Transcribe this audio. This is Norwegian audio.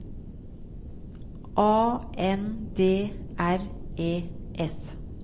A N D R E S